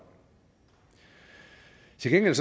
til gengæld